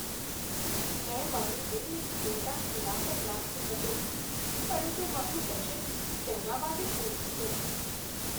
મેં મારું દિલ એક મોટા હીરા પર રાખ્યું હતું, પરંતુ મારું બજેટ તેના માટે પૂરતું નથી.